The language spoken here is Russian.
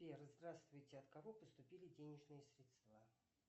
сбер здравствуйте от кого поступили денежные средства